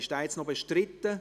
Ist dieser noch bestritten?